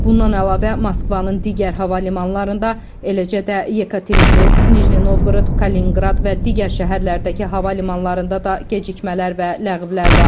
Bundan əlavə, Moskvanın digər hava limanlarında, eləcə də Yekaterinburq, Nijni Novqorod, Kalininqrad və digər şəhərlərdəki hava limanlarında da gecikmələr və ləğvlər var.